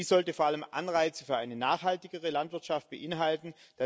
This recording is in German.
Dies sollte vor allem Anreize für eine nachhaltigere Landwirtschaft beinhalten.